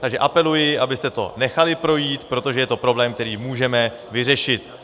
Takže apeluji, abyste to nechali projít, protože je to problém, který můžeme vyřešit.